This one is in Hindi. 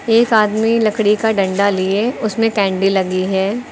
एक आदमी लकड़ी का डंडा लिए उसमें कैंडी लगी है।